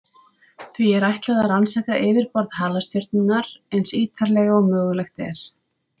Því er ætlað að rannsaka yfirborð halastjörnunnar eins ítarlega og mögulegt er.